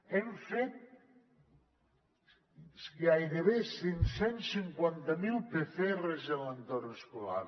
hem fet gairebé cinc cents i cinquanta miler pcrs en l’entorn escolar